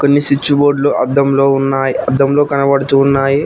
కొన్ని స్విచ్ బోర్డులు అద్దంలో ఉన్నాయి అద్దంలో కనబడుతూ ఉన్నాయి.